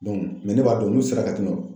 ne b'a dɔn n'u sera ka tɛmɛn